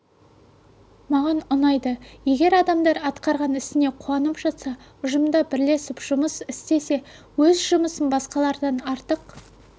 маған ұнайды егер адамдар атқарған ісіне қуанып жатса ұжымда бірлесіп жұмыс істесе өз жұмысын басқалардан артық